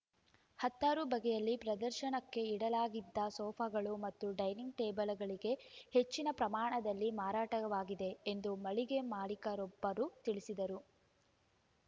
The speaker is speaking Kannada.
ಹತ್ತಾರು ಬಗೆಯಲ್ಲಿ ಪ್ರದರ್ಶನಕ್ಕಿಡಲಾಗಿದ್ದ ಸೋಫಾಗಳು ಮತ್ತು ಡೈನಿಂಗ್‌ ಟೇಬಲ್‌ಗಳಿಗೆ ಹೆಚ್ಚಿನ ಪ್ರಮಾಣದಲ್ಲಿ ಮಾರಾಟವಾಗಿವೆ ಎಂದು ಮಳಿಗೆ ಮಾಲಿಕರೊಬ್ಬರು ತಿಳಿಸಿದರು